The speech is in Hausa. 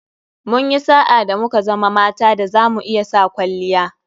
Munyi sa'a da muka zama mata da zamu iya sa [kwalliya]